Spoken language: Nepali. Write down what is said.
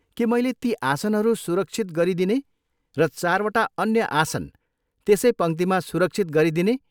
के मैले ती आसनहरू सुरक्षित गरिदिने र चारवटा अन्य आसन त्यसै पङ्क्तिमा सुरक्षित गरिदिने?